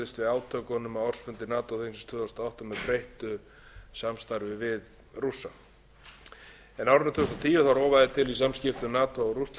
átökunum á ársfundi nato þingsins tvö þúsund og átta með breyttu samstarfi við rússa á árinu tvö þúsund og tíu rofaði til í samskiptum nato og rússlands og